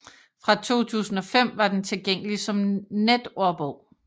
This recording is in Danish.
Fra 2005 var den tilgængelig som netordbog